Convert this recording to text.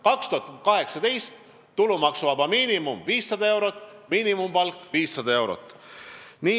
2018. aastal on tulumaksuvaba miinimum 500 eurot ja miinimumpalk ka 500 eurot.